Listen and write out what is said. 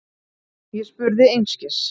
Ég spurði einskis.